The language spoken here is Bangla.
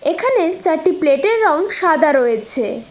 এখানে চারটি প্লেটের রং সাদা রয়েছে।